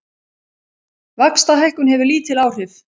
Vaxtahækkun hefur lítil áhrif